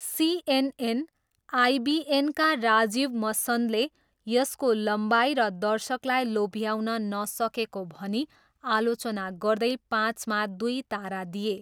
CNN आइबिएनका राजीव मसन्दले यसको लम्बाइ र दर्शकलाई लोभ्याउन नसकेको भनी आलोचना गर्दै पाँचमा दुई तारा दिए।